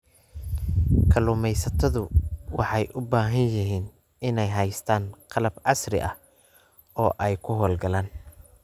Kalluumaysatadu waxay u baahan yihiin inay haystaan ??qalab casri ah oo ay ku hawl galaan.